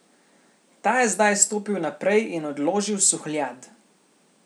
Ta je zdaj stopil naprej in odložil suhljad.